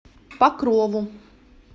покрову